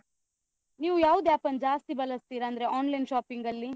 ನೀವು ಯಾವ್ದು App ಅನ್ನು ಜಾಸ್ತಿ ಬಳಸ್ತೀರಾ, ಅಂದ್ರೆ online shopping ಅಲ್ಲಿ?